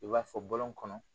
I b'a fɔ bɔlɔn kɔnɔ